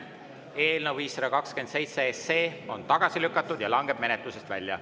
Eelnõu 527 on tagasi lükatud ja langeb menetlusest välja.